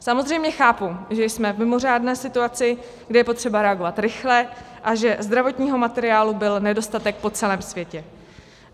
Samozřejmě chápu, že jsme v mimořádné situaci, kdy je potřeba reagovat rychle, a že zdravotního materiálu byl nedostatek po celém světě.